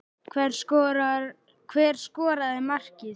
Hver skoraði markið?